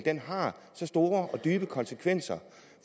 har så store og dybe konsekvenser